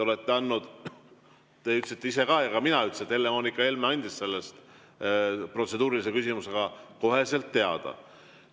Te ütlesite ise ja ka mina ütlesin, et Helle‑Moonika Helme andis sellest protseduurilise küsimusega koheselt teada.